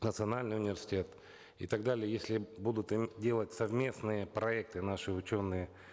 национальный университет и так далее если будут им делать совместные проекты наши ученые